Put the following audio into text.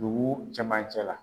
Dugu camancɛ la